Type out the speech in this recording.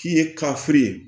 K'i ye kafiri